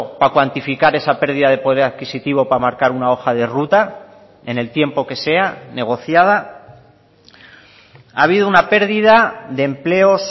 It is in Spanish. para cuantificar esa pérdida de poder adquisitivo para marcar una hoja de ruta en el tiempo que sea negociada ha habido una pérdida de empleos